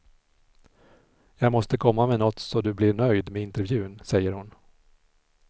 Jag måste komma med nåt så du blir nöjd med intervjun, säger hon.